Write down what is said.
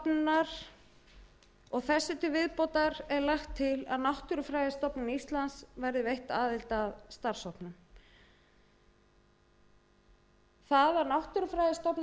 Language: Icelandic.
auk umhverfisstofnunar þessu til viðbótar er lagt til að náttúrufræðistofnun íslands verði veitt aðild að starfshópnum það að náttúrufræðistofnun